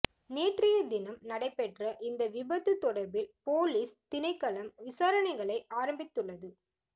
நேற்றைய தினம் நடைபெற்ற இந்த விபத்து தொடர்பில் பொலிஸ் திணைக்களம் விசாரணைகளை ஆரம்பித்துள்து